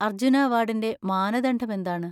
അർജ്ജുന അവാർഡിന്‍റെ മാനദണ്ഡം എന്താണ്?